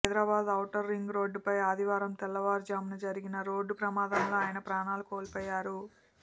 Hyderabad outer రింగ్రోడ్డుపై ఆదివారం తెల్లవారుజామున జరిగిన రోడ్డు ప్రమాదంలో ఆయన ప్రాణాలు కోల్పోయారు